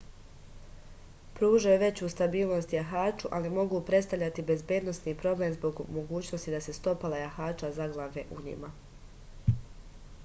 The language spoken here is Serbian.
pružaju veću stabilnost jahaču ali mogu predstavljati bezbednosni problem zbog mogućnosti da se stopala jahača zaglave u njima